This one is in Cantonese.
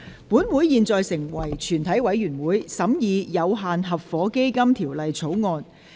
本會現在成為全體委員會，審議《有限合夥基金條例草案》。